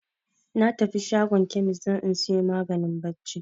Na tafi shago kemis don in sayo maganin barci